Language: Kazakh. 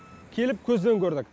келіп көзбен көрдік